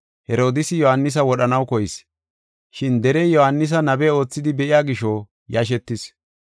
Herodiisi Yohaanisa wodhanaw koyis, shin derey Yohaanisa nabe oothidi be7iya gisho yashetis.